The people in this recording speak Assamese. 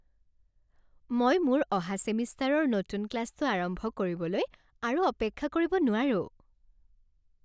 মই মোৰ অহা ছেমিষ্টাৰৰ নতুন ক্লাছটো আৰম্ভ কৰিবলৈ আৰু অপেক্ষা কৰিব নোৱাৰো!